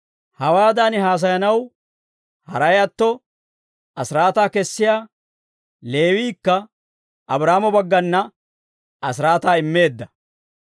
Hawaadan haasayanaw haray atto, asiraataa kessiyaa Leewiikka Abraahaamo baggana asiraataa immeedda.